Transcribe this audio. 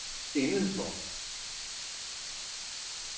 indenfor